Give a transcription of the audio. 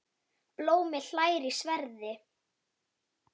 Blómi hlær í sverði.